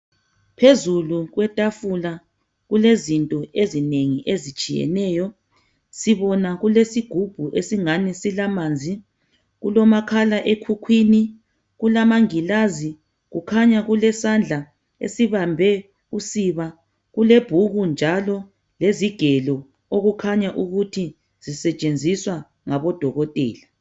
Phezulu kwetafula kulezinto ezinengi ezitshiyeneyo. Sibona kulesigubhu esingani silamanzi, kulomakhala ekhukhwini, kulamangilazi, kukhanya kulesandla esibambe usiba kulebhuku njalo kulezigelo okukhanya ukuthi zisetshenziswa ngabodokotela.